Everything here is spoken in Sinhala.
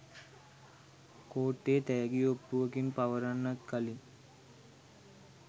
කෝට්ටේ තෑගි ඔප්පුවකින් පවරන්නත් කලින්